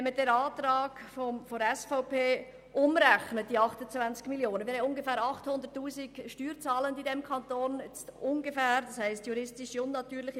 Wenn man den Antrag der SVP, diese 28 Mio. Franken, umrechnet, ergibt sich daraus für die Steuerrechnung des Einzelnen eine Reduktion von rund 35 Franken.